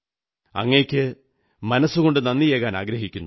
അങ്ങയ്ക്ക് മനസ്സുകൊണ്ട് നന്ദിയേകാനാഗ്രഹിക്കുന്നു